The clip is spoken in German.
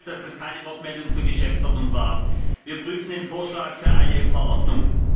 Sie wissen selbst, dass das keine Wortmeldung zur Geschäftsordnung war. Wir prüfen den Vorschlag für eine Verordnung.